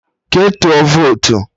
Ke tụọ votu!